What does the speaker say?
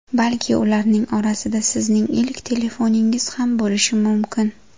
Balki ularning orasida sizning ilk telefoningiz ham bo‘lishi mumkin.